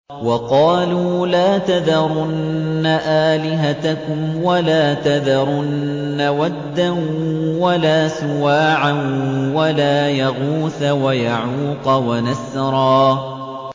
وَقَالُوا لَا تَذَرُنَّ آلِهَتَكُمْ وَلَا تَذَرُنَّ وَدًّا وَلَا سُوَاعًا وَلَا يَغُوثَ وَيَعُوقَ وَنَسْرًا